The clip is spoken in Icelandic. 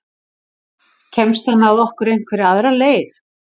Kemst hann að okkur einhverja aðra leið?